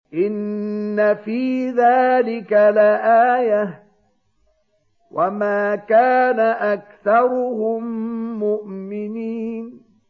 إِنَّ فِي ذَٰلِكَ لَآيَةً ۖ وَمَا كَانَ أَكْثَرُهُم مُّؤْمِنِينَ